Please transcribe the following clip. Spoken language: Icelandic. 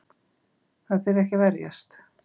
Þýðir ekki að verjast